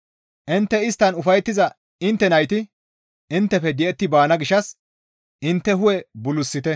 Intte isttan ufayettiza intte nayti inttefe di7etti baana gishshas intte hu7e bulusite.